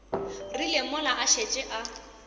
rile mola a šetše a